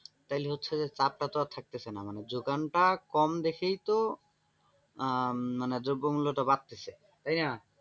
তাইলে হচ্ছে যে চাপটা তো আর থাকতেছে না যোগানটা কম দেখেই তো আহ মানে দ্রব্যমূল্য টা বাড়তেছে তাইনা?